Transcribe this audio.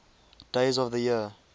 days of the year